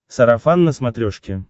сарафан на смотрешке